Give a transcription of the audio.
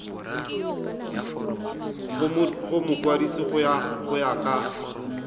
go mokwadise go ya ka